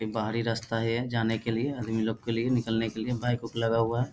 ये बाहरी रास्ता है यहां जाने के लिए आदमी लोग के लिए निकलने के लिए बाइक उइक लगा हुआ है।